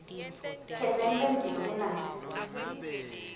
khetsa imphendvulo kunati